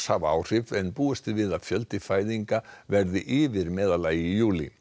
hafa áhrif en búist er við að fjöldi fæðinga verði yfir meðallagi í júlí